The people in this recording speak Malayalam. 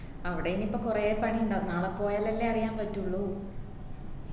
അവിടെ ഇനി ഇപ്പൊ കൊറേ പണി ഇണ്ടാവും നാളെ പോയാലല്ലേ അറിയാൻ പറ്റുള്ളൂ